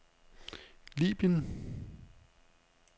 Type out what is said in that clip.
Libyen